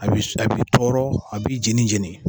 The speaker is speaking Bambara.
A bi tɔɔrɔ a bi jeni jeni.